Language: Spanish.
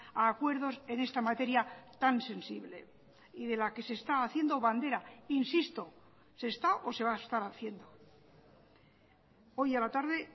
a acuerdos en esta materia tan sensible y de la que se está haciendo bandera insisto se está o se va a estar haciendo hoy a la tarde